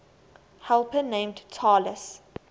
helper named talus